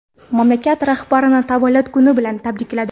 mamlakat rahbarini tavallud kuni bilan tabrikladi.